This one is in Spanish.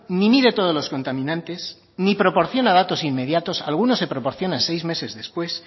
ni mide todos los contaminantes ni proporciona datos inmediatos algunos se proporcionan seis meses después